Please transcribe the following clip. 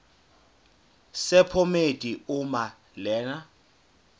sephomedi uma lena